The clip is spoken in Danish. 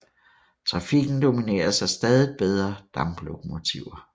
Trafikken domineres af stadig bedre damplokomotiver